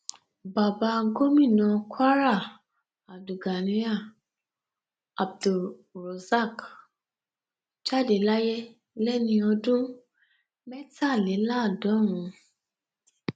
bàbá gomina kwara abdulganiyar abdulrosaq jáde láyé lẹni ọdún mẹtàléláàádọrùn